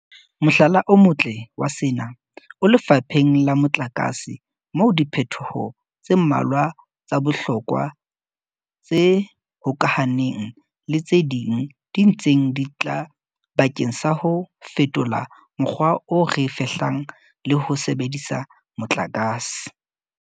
Mohlala o motle wa sena o lefapheng la motlakase moo diphetoho tse mmalwa tsa bohlokwa tse hokahaneng le tse ding di ntseng di tla bakeng sa ho fetola mokgwa o re fehlang le ho sebedisa motlakase.